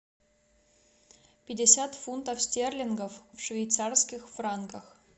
пятьдесят фунтов стерлингов в швейцарских франках